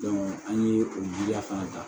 an ye o giliya fana ta